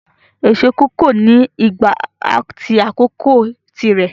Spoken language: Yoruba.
Èso kòkó ni ìgbà at àsìkò tí rẹ